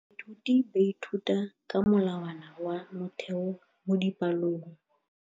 Baithuti ba ithuta ka molawana wa motheo mo dipalong.